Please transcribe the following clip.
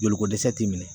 Joliko dɛsɛ ti minɛ